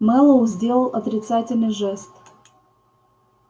мэллоу сделал отрицательный жест